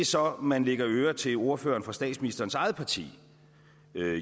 så kan lægge øre til at ordføreren for statsministerens eget parti